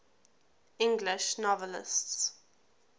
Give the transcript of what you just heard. english novelists